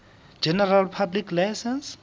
general public license